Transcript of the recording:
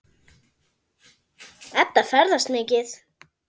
Edda ferðast mikið.